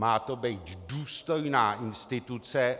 Má to být důstojná instituce.